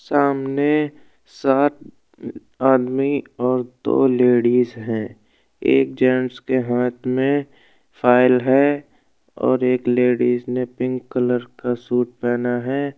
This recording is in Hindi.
सामने सात आदमी और दो लेडिज हैं। एक जेंट्स के हाथ में फाइल है और एक लेडिज ने पिंक कलर का सूट पहना है।